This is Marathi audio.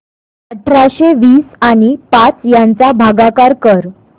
अठराशे वीस आणि पाच यांचा भागाकार कर